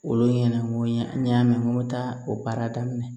Olu ɲɛna n ko n y'a mɛn n ko n bɛ taa o baara daminɛ